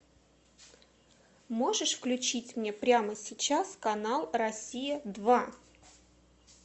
можешь включить мне прямо сейчас канал россия два